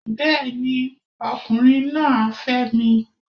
Bẹ́ẹ̀ni, ọkùnrin náà á fẹ́ mi